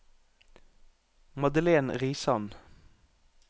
Madelen Risan